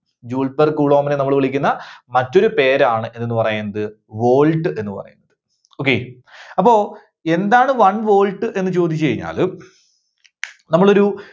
joule per coulomb നെ നമ്മള് വിളിക്കുന്ന മറ്റൊരു പേരാണ് എന്തെന്ന് പറയുന്നത്, volt എന്ന് പറയുന്നത്. okay. അപ്പോ എന്താണ് one volt എന്ന് ചോദിച്ച് കഴിഞ്ഞാല് നമ്മളൊരു